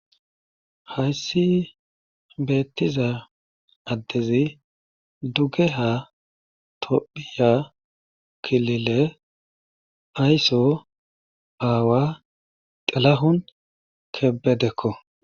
Hayssi beetiza adezi dugeha tophiya kilile ayso aawa xilahun kebedekko.